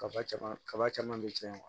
Kaba caman kaba caman be cɛn